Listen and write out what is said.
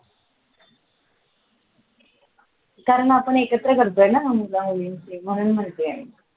कारण आपण एकत्र करतोय ना मुला मुलींचे म्हणून म्हणतोय मी